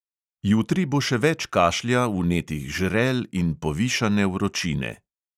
Jutri bo še več kašlja, vnetih žrel in povišane vročine.